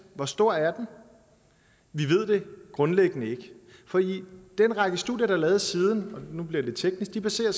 hvor stor er den vi ved det grundlæggende ikke fordi den række studier der er lavet siden nu bliver det lidt teknisk baserer